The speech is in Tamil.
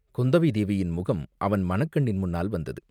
குந்தவை தேவியின் முகம் அவன் மனக் கண்ணின் முன்னால் வந்தது.